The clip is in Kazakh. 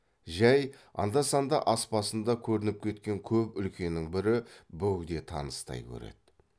жай анда санда ас басында көрініп кететін көп үлкеннің бірі бөгде таныстай көреді